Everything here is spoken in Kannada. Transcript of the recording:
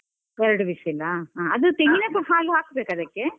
ಎರಡು whistle , ಅದು ತೆಂಗಿನದ್ದು ಹಾಲು ಹಾಕ್ಬೇಕ ಅದಕ್ಕೆ?